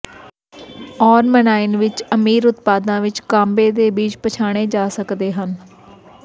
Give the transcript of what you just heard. ਆਰਮਿਨਾਈਨ ਵਿਚ ਅਮੀਰ ਉਤਪਾਦਾਂ ਵਿਚ ਕਾੰਬੇ ਦੇ ਬੀਜ ਪਛਾਣੇ ਜਾ ਸਕਦੇ ਹਨ